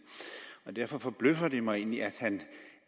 derfor forbløffer det mig egentlig at han